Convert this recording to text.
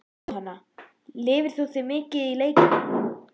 Jóhanna: Lifir þú þig mikið inn í leikina?